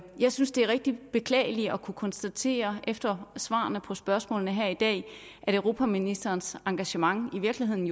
jeg synes det er rigtig beklageligt at kunne konstatere efter svarene på spørgsmålene her i dag at europaministerens engagement jo i virkeligheden